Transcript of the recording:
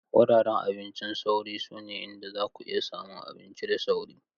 Wuraren abincin sauri sune inda zaku iya samun abinci da sauri.